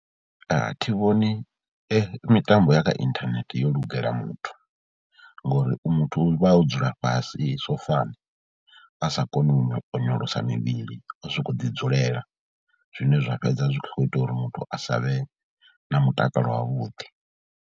A thi vhoni mitambo ya kha inthanethe yo lugela muthu ngori u muthu u vha o dzula fhasi sofani, a sa koni u onyo onyolosa mivhili, a sokou ḓidzulela zwine zwa fhedza zwi khou ita uri muthu a sa vhe na mutakalo wavhuḓi.